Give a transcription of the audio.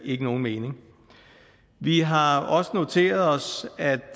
ikke nogen mening vi har også noteret os at